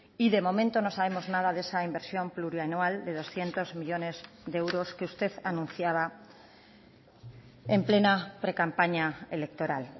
y de momento no sabemos nada de esa inversión plurianual de doscientos millónes de euros que usted anunciaba en plena precampaña electoral